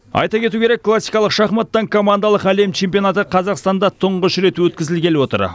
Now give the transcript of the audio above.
айта кету керек классикалық шахматтан командалық әлем чемпионаты қазақстанда тұңғыш рет өткізілгелі отыр